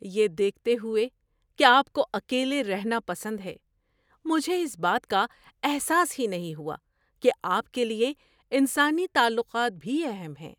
یہ دیکھتے ہوئے کہ آپ کو اکیلے رہنا پسند ہے، مجھے اس بات کا احساس ہی نہیں ہوا کہ آپ کے لیے انسانی تعلقات بھی اہم ہیں۔